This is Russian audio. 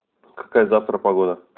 какая завтра погода